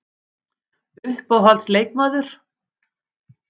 Uppáhalds leikmaður?